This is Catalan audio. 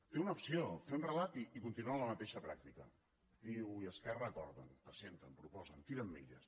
té una opció fer un relat i continuar amb la mateixa pràctica ciu i esquerra acorden presenten proposen tiren milles